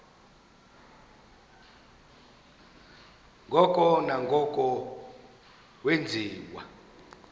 ngoko nangoko wenziwa